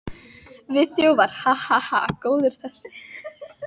Við þjófar, ha, ha, ha. góður þessi!